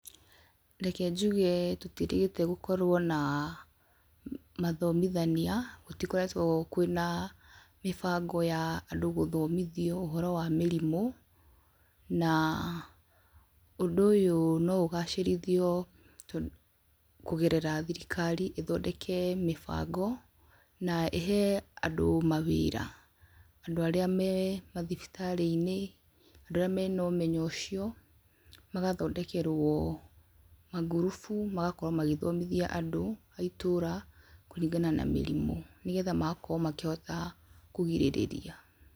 Reke njuge tũtiĩrĩgĩte gũkorwo na mathomithania, gũtikoretwo kwĩna mĩbango ya andũ gũthomithio ũhoro wa mĩrimũ, na, ũndũ ũyũ no ũgacĩrithio to kũgerera thirikari ĩthondeke mĩbango, na ĩhe andũ mawĩra, andũ arĩa me mathibitarĩinĩ, andũ arĩa mena ũmenyo ũcio, magathondekerwo mangurubu magakorwo magĩthomthia andũ a itũra, kũringana na mĩrimũ, nĩgetha magakorwo makĩhota kũgirĩrĩria.